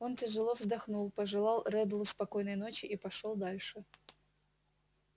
он тяжело вздохнул пожелал реддлу спокойной ночи и пошёл дальше